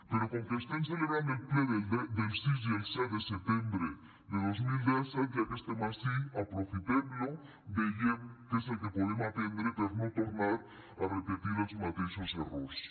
però com que estem celebrant el ple del sis i el set de setembre de dos mil disset ja que estem ací aprofitem lo vegem què és el que podem aprendre per no tornar a repetir els mateixos errors